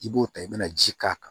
I b'o ta i bɛna ji k'a kan